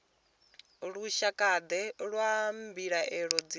lushakade lwa mbilaelo dzine dza